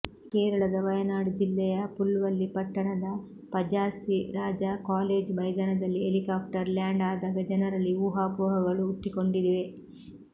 ಕೇರಳದ ವಯನಾಡ್ ಜಿಲ್ಲೆಯ ಪುಲ್ಪಲ್ಲಿ ಪಟ್ಟಣದ ಪಜಾಸ್ಸಿ ರಾಜಾ ಕಾಲೇಜು ಮೈದಾನದಲ್ಲಿ ಹೆಲಿಕಾಪ್ಟರ್ ಲ್ಯಾಂಡ್ ಆದಾಗ ಜನರಲ್ಲಿ ಊಹಾಪೋಹಗಳು ಹುಟ್ಟಿಕೊಂಡಿವೆ